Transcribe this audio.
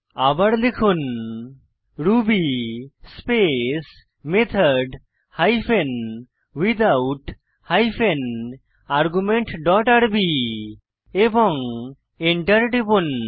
আবার লিখুন Ruby space method hyphen without hyphen argument dot RB এবং এন্টার টিপুন